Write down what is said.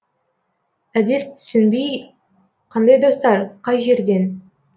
әдес түсінбей қандай достар қай жерден